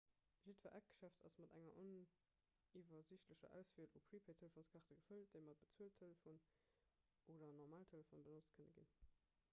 jiddwer eckgeschäft ass mat enger oniwwersiichtlecher auswiel u prepaid-telefonskaarte gefëllt déi mat bezueltelefonen oder normalen telefone benotzt kënne ginn